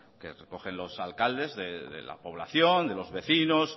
que recogen los alcaldes de la población de los vecinos